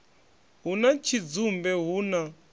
hu na tshidzumbe hu na